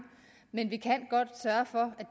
men vi kan godt sørge for